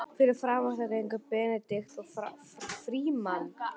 Fyrir framan þau gengu Benedikt og Frímann.